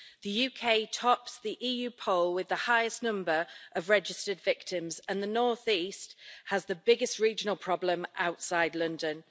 The UK tops the EU poll with the highest number of registered victims, and the North East has the biggest regional problem outside London.